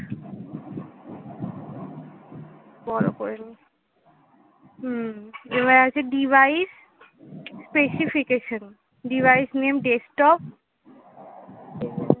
বড় করে নি হম এবার আছে device specification device name dekstop